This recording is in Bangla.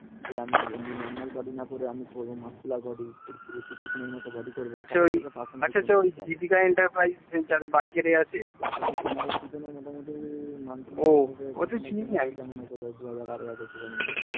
আচ্ছা আচ্ছা দীপিকা এন্টার প্রাইজে এ যাদের বাইক এ আছে ও আমি তো চিনি